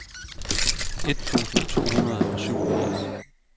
et tusind to hundrede og syvogfirs